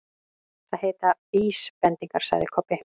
Það heita VÍSbendingar, sagði Kobbi.